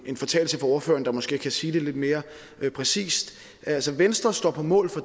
en fortalelse fra ordføreren der måske kan sige det lidt mere præcist altså venstre står på mål for